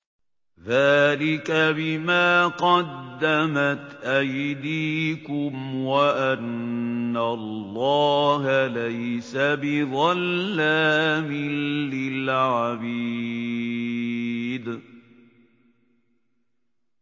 ذَٰلِكَ بِمَا قَدَّمَتْ أَيْدِيكُمْ وَأَنَّ اللَّهَ لَيْسَ بِظَلَّامٍ لِّلْعَبِيدِ